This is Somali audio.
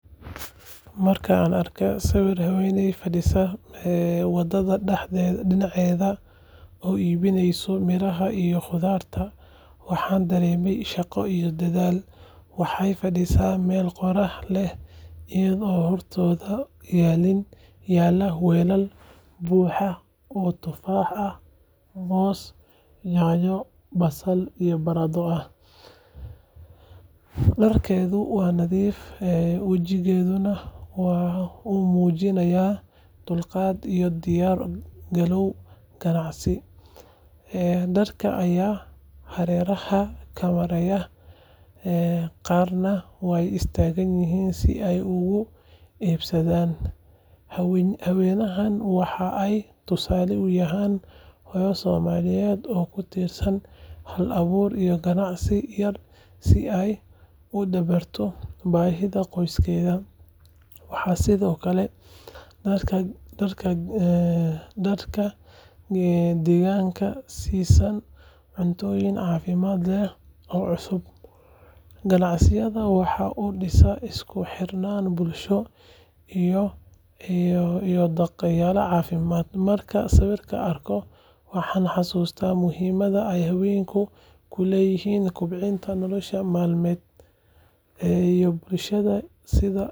Markii aan arkay sawirka haweeney fadhiya waddada dhinaceeda oo iibinaysa miraha iyo khudradda, waxaan dareemay shaqo iyo dadaal. Waxay fadhidaa meel qorrax leh iyadoo hortooda yaallaan weelal buuxa oo tufaax, moos, yaanyo, basal iyo baradho ah. Dharkeedu waa nadiif, wejigeeduna waxa uu muujinayaa dulqaad iyo diyaar garow ganacsi. Dad ayaa hareeraha ka maraya, qaarna way istaagayaan si ay uga iibsadaan. Haweeneydan waxa ay tusaale u tahay hooyo Soomaaliyeed oo ku tiirsan hal-abuur iyo ganacsi yar si ay u dabarto baahida qoyskeeda. Waxay sidoo kale dadka deegaanka siisaa cuntooyin caafimaad leh oo cusub. Ganacsigeeda waxa uu dhisaa isku xirnaan bulshada ah iyo dhaqaalaha xaafadda. Markaan sawirkaas arko, waxaan xasuustaa muhiimada ay haweenku ku leeyihiin kobcinta nolol maalmeedka bulshada iyo sida.